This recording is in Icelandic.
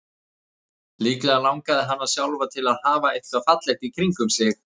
Líklega langaði hana sjálfa til að hafa eitthvað fallegt í kringum sig.